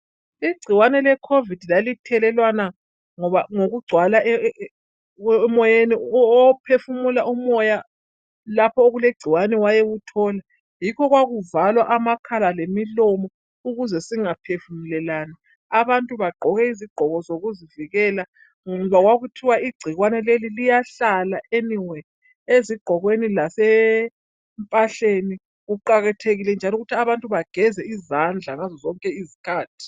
igcikwane le COVID lalithelelwana ngokugcwala emoyeni ophefumula umoya lapho okulegcikwane wayewuthola yikho kwakuvalwa amakhala lemilomo ukuze singaphefumulelani abantu bagqoke izigqoko zokuzivikela ngoba kwakuthiwa igcikwane leli liyahlala anywhere ezigqokweni lasempahleni kuqakathekile njalo ukuthi abantu bageze izandla ngazo zonke izikhathi